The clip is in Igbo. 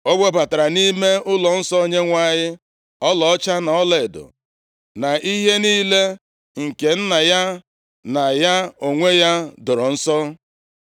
O webatara nʼime ụlọnsọ Onyenwe anyị ọlaọcha na ọlaedo na ihe niile nke nna ya na ya onwe ya doro nsọ.